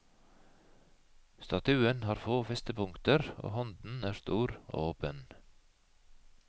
Statuen har få festepunkter og hånden er stor og åpen.